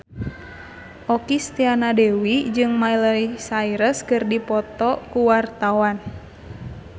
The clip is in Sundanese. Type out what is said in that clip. Okky Setiana Dewi jeung Miley Cyrus keur dipoto ku wartawan